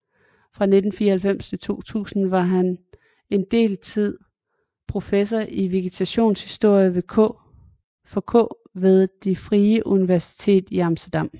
Fra 1994 til 2000 var han en del tid professor i vegetationshistorie for k ved Det Frie Universitet i Amsterdam